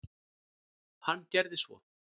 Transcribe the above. Hann gerði svo.